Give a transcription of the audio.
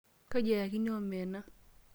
Kaji eyakini omena?